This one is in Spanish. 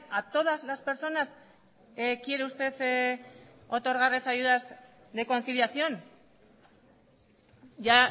a todas las personas quiere usted otorgarles ayudas de conciliación ya